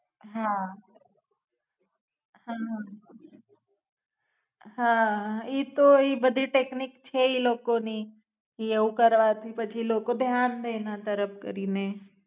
હા, હા. હા, ઈ તો ઈ બધી ટેક્નિક છે ઈ લોકો ની ઈ એવું કરવાથી પછી લોકો ધ્યાન દે એના તરફ કરીને